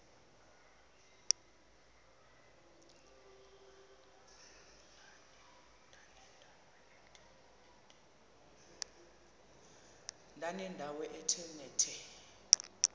ndanendawo ethe nethe